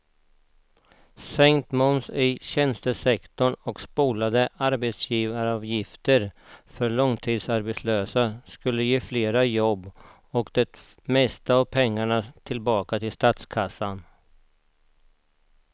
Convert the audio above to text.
Sänkt moms i tjänstesektorn och slopade arbetsgivaravgifter för långtidsarbetslösa skulle ge fler jobb och det mesta av pengarna tillbaka till statskassan.